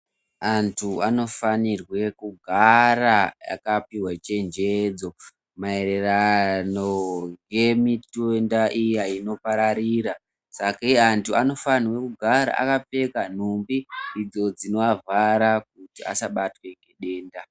Antu anofanirwe kugara akapihwa chenjedzo maererano ngemitenda iya inopararira. Sakei antu anofanirwe kugara akapfeka nhumbi idzo dzinoavhara kuti asabate denda.